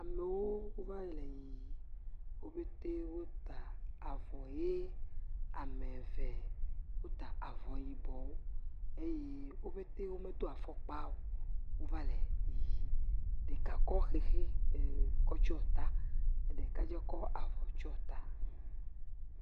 Amewo va le yiyim wo petɛ wota avɔ ʋi eye ame eve wota avɔ yibɔwo eye wo petɛ womedo afɔkpa o eye wova le yiyim. Ɖeka kɔ xexi tsɔ ta ɖeka tsɛ kɔ avɔ tsɔ ta.